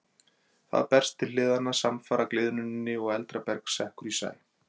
Það berst til hliðanna samfara gliðnuninni og eldra berg sekkur í sæ.